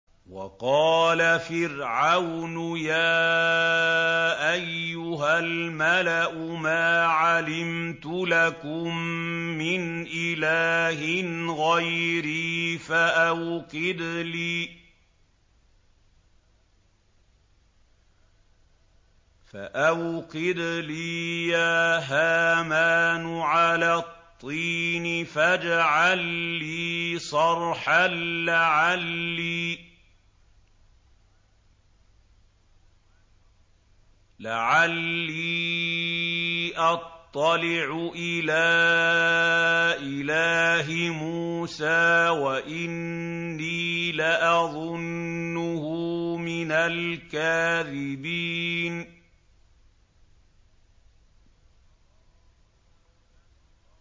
وَقَالَ فِرْعَوْنُ يَا أَيُّهَا الْمَلَأُ مَا عَلِمْتُ لَكُم مِّنْ إِلَٰهٍ غَيْرِي فَأَوْقِدْ لِي يَا هَامَانُ عَلَى الطِّينِ فَاجْعَل لِّي صَرْحًا لَّعَلِّي أَطَّلِعُ إِلَىٰ إِلَٰهِ مُوسَىٰ وَإِنِّي لَأَظُنُّهُ مِنَ الْكَاذِبِينَ